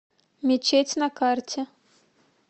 мечеть на карте